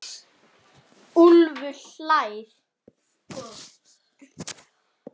Úlfur hlær.